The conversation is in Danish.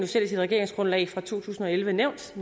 selv i sit regeringsgrundlag fra to tusind og elleve nævnt